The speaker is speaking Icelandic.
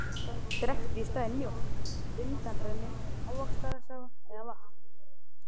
Drekktu í staðinn mjólk, undanrennu, ávaxtasafa eða vatn.